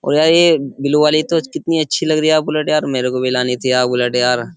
और यार ये ब्लू वाली तो कितनी अच्छी लग रही है बुलेट यार मेरे को भी लानी थी यार बुलेट यार।